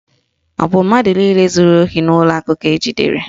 Ọ bụ mmadụ niile zuru ohi n'ụlọ akụ ka ejidere?